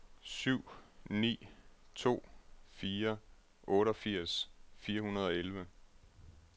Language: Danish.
syv ni to fire otteogfirs fire hundrede og elleve